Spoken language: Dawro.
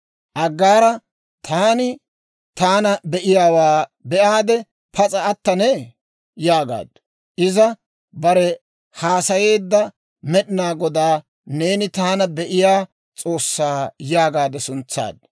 Aggaara, «Taani taana be'iyaawaa be'aade pas'a attanee?» yaagaaddu; iza barew haasayeedda Med'inaa Godaa, «Neeni taana be'iyaa S'oossaa» yaagaade suntsaaddu.